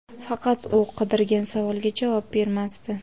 faqat u qidirgan savolga javob bermasdi.